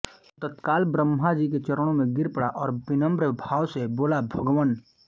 वह तत्काल ब्रह्मा जी के चरणों में गिर पड़ा और विनम्र भाव से बोला भगवन